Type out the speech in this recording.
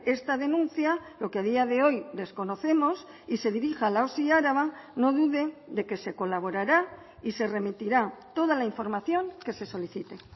esta denuncia lo que a día de hoy desconocemos y se dirija a la osi araba no dude de que se colaborará y se remitirá toda la información que se solicite